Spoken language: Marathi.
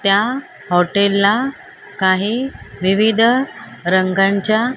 त्या हॉटेल ला काही विविध रंगांच्या --